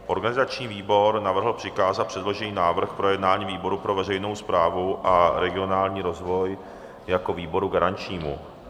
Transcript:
Organizační výbor navrhl přikázat předložený návrh k projednání výboru pro veřejnou správu a regionální rozvoj jako výboru garančnímu.